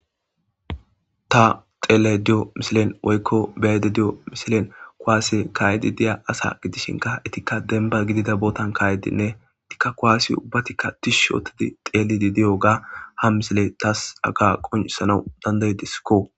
ta xeele diyo misilen woykko beyede di7o misilen kowaase kaayedi diya asa gidishinka itikka demba gidida bootan kaayedinne tikka kowaasi ubbatikka tish yootidi xeelidi diyo ga ha misile taas aga qoncsana dandaydiskko